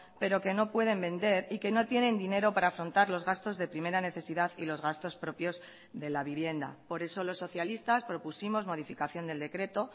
pero que no pueden vender y que no tienen dinero para afrontar los gastos de primera necesidad y los gastos propios de la vivienda por eso los socialistas propusimos modificación del decreto